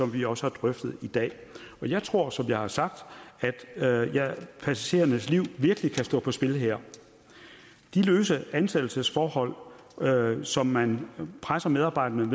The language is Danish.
vi også har drøftet i dag jeg tror som jeg har sagt at passagerernes liv virkelig kan stå på spil her de løse ansættelsesforhold som man presser medarbejderne